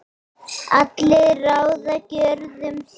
allir ráða gjörðum sín